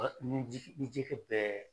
ni jiri bɛɛ